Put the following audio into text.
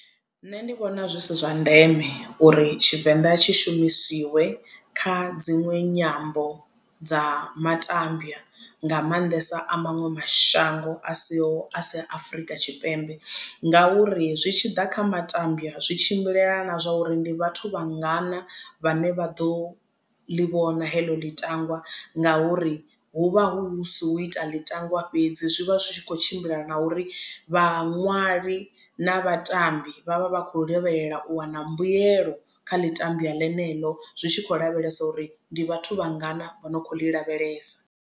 Nṋe ndi vhona zwi si zwa ndeme uri tshivenḓa tshi shumisiwe kha dziṅwe nyambo dza matambya nga maanḓesa a maṅwe mashango a siho a sia Afurika Tshipembe ngauri zwi tshiḓa kha matambya zwi tshimbilelana na zwa uri ndi vhathu vha ngana vhane vha ḓo ḽi vhona heḽo ḽitangwa ngauri hu vha hu si hu ita ḽitangwa fhedzi zwi vha zwi tshi kho tshimbila na uri vhaṅwali na vhatambi vhavha vhakho lavhelela u wana mbuyelo kha ḽitambya ḽeneḽo zwi tshi khou lavhelesa uri ndi vhathu vhangana vho no kho ḽi lavhelesa.